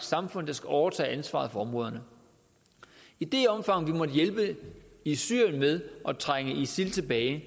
samfund der skal overtage ansvaret for områderne i det omfang vi måtte hjælpe i syrien med at trænge isil tilbage